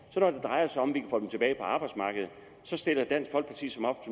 så drejer sig om at få dem tilbage på arbejdsmarkedet så stiller dansk folkeparti som